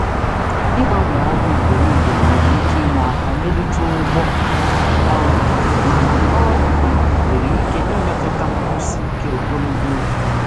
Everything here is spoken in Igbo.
Ịgbanwe ọrụ ugboro ugboro nwere ike inye um aka mee ka ụgwọ ọrụ ka mma mana ọ nwere ike imetụta nkwụsi ike ogologo oge.